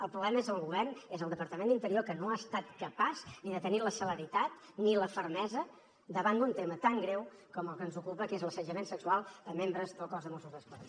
el problema és el govern i és el departament d’interior que no ha estat capaç ni de tenir la celeritat ni la fermesa davant d’un tema tan greu com el que ens ocupa que és l’assetjament sexual a membres del cos de mossos d’esquadra